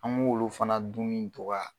An m'olu fana dunni dɔgɔya.